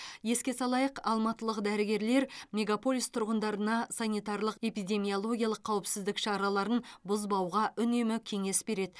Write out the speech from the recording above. еске салайық алматылық дәргерлер мегаполис тұрғындарына санитарлық эпидемиологиялық қауіпсіздік шараларын бұзбауға үнемі кеңес береді